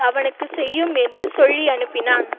அவனுக்கு செய்யும் என்று சொல்லியனுப்பினான்